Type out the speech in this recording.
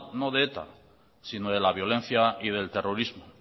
no de eta sino de la violencia y del terrorismo